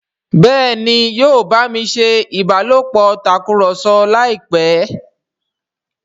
Béèni yóò bámi ṣé ìbálòpọ̀ Tàkùrọ̀sọ láìpé.